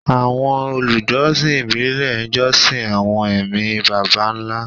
Àwọn olùjọsìn ìbílẹ̀ ń jọ́sìn àwọn ẹ̀mí baba ńlá